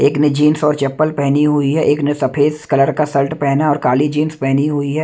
एक ने जींस और चप्पल पहनी हुई है एक ने सफेद कलर का शर्ट पहना और काली जींस पहनी हुई है।